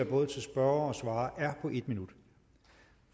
både spørgere og svarere er på en minut